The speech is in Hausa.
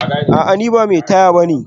A'a ni ba mai taya bane